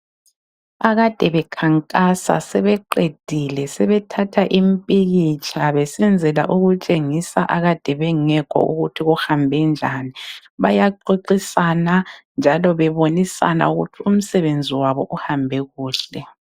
Akade bakhankasa, sebeqedile sebethatha imipikitsha ukwenzela ukutshengisa akade bengekho ukuthi kuhambe njani. Bayaxoxisana njalo bebonisana ukuthi umsebenzi wabo uhambe kuhle